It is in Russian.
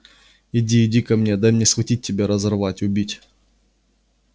иди иди ко мне дай мне схватить тебя разорвать убить